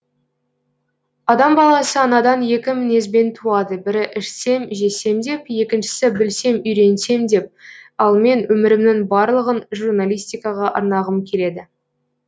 адам баласы анадан екі мінезбен туады бірі ішсем жесем деп екіншісі білсем үйренсем деп ал мен өмірімнің барлығын журналистикаға арнағым келеді